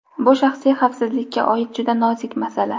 Bu shaxsiy xavfsizlikka oid juda nozik masala.